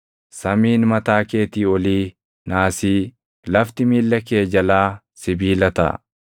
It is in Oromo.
Samiin mataa keetii olii naasii, lafti miilla kee jalaa sibiila taʼa.